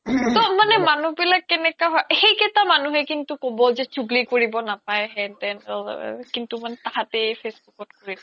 তৌ মানে মানুহ বিলাকে কেনেকা হয় সেই কেইতা মানুহে কিন্তু ক্'ব যে চোগলি কৰিব নাপাই হেন তেন কিন্তু মানে তাহাতেই facebook ত কৰি থাকে